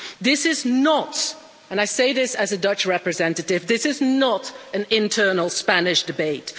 This is not and I say this as a Dutch representative this is not an internal Spanish debate.